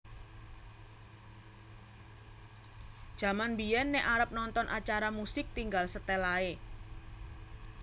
Jaman biyen nek arep nonton acara musik tinggal setel ae